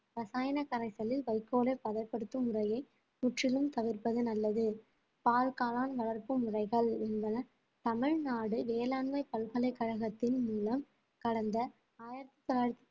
ரசாயன கரைசலில் வைக்கோலை பதப்படுத்தும் முறையை முற்றிலும் தவிர்ப்பது நல்லது பால் காளான் வளர்ப்பு முறைகள் என்பன தமிழ்நாடு வேளாண்மை பல்கலைக்கழகத்தின் மூலம் கடந்த ஆயிரத்தி தொள்ளாயிரத்தி